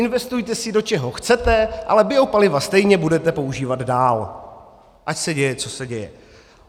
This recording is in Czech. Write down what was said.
Investujte si, do čeho chcete, ale biopaliva stejně budete používat dál, ať se děje, co se děje.